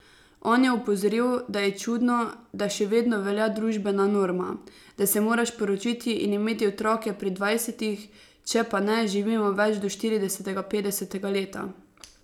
On je opozoril, da je čudno, da še vedno velja družbena norma, da se moraš poročiti in imeti otroke pri dvajsetih, če pa ne živimo več do štiridesetega, petdesetega leta.